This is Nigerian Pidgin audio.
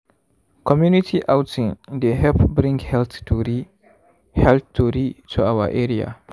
community outing dey help bring health tori health tori to our area.